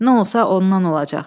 Nə olsa, ondan olacaq.